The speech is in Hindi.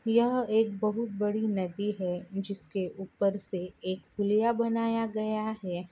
यह एक बहुत बड़ी नदी है जिसके ऊपर से एक पुलिया बनाया गया है।